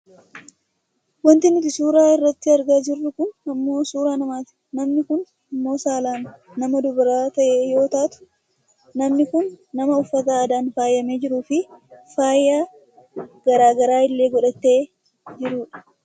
wanti nuti suuraa irratti argaa jirru kun ammoo suuraa namati. namni kun ammoo saalaan nama dubara ta'e yoo taatu , namni kun nama uffata aadaan faayamee jiruufi faaya gara garaa illee godhatee jirudha.